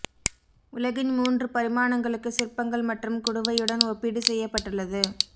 உலகின் மூன்று பரிமாணங்களுக்கு சிற்பங்கள் மற்றும் குடுவையுடன் ஒப்பீடு செய்யப்பட்டுள்ளது